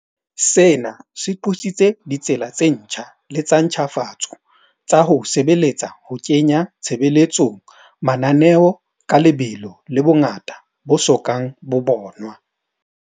Sena se qositse ditsela tse ntjha le tsa ntjhafatso tsa ho sebeletsa ho kenya tshebetsong mananeo ka lebelo le bongata bo so kang bo bonwa.